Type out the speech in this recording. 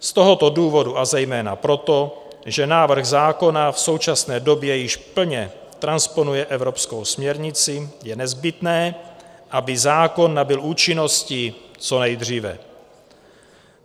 Z tohoto důvodu, a zejména proto, že návrh zákona v současné době již plně transponuje evropskou směrnici, je nezbytné, aby zákon nabyl účinnosti co nejdříve.